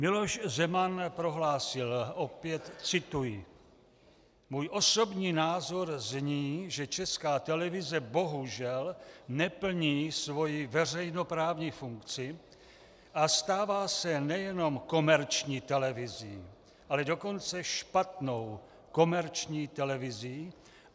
Miloš Zeman prohlásil - opět cituji: Můj osobní názor zní, že Česká televize bohužel neplní svoji veřejnoprávní funkci a stává se nejenom komerční televizí, ale dokonce špatnou komerční televizí.